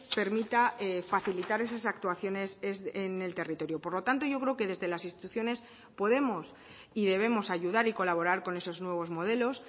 permita facilitar esas actuaciones en el territorio por lo tanto yo creo que desde las instituciones podemos y debemos ayudar y colaborar con esos nuevos modelos